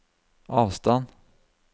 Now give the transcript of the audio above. avstand